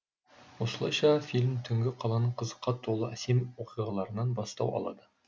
осылайша фильм түнгі қаланың қызыққа толы әсем оқиғаларынан бастау алады